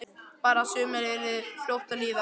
Bara að sumarið yrði nú fljótt að líða.